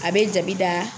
A bɛ jabi da